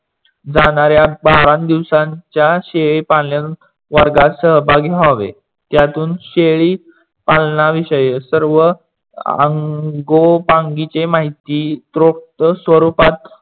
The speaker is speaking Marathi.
जाणाऱ्या बारा दिवसाच्या शेळी पालन वर्गात सहभागी व्हावे. त्यातून शेडीपालणविषयी तर व आंगोपांगची माहिती त्रोप्त स्वरूपात